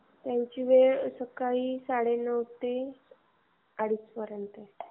त्याची वेळ सकाळी साडेनऊ ते अडीच पर्यंत.